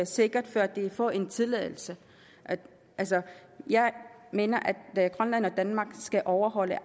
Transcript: sikkert før de kan få en tilladelse jeg mener at grønland og danmark skal overholde